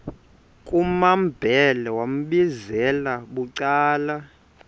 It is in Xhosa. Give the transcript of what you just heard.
kumambhele wambizela bucala